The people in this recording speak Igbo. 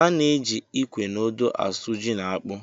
A na-eji ikwe na odo asụ ji na akpụ.